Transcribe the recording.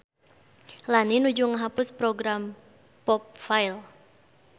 Lani nuju ngahapus program popfile